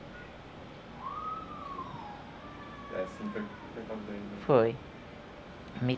Foi. Me